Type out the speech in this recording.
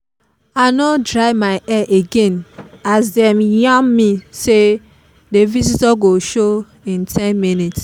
i no dry my hair again as dem yarn me say the visitor go show in ten minutes